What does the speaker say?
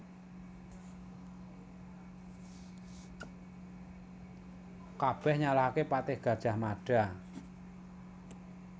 Kabèh nyalahaké patih Gajah Mada